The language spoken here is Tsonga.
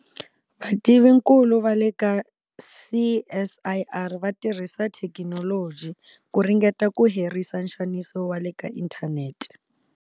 VATIVINKULU VA LE KA CSIR va tirhisa thekinoloji ku ringeta ku herisa nxaniso wa le ka inthanete.